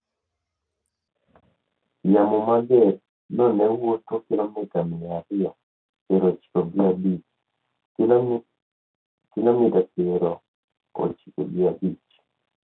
Yamo mager no ne wuotho ​​kilomita mia ariyo piero ochiko gi abich (kilomita piero ochiko gi abich)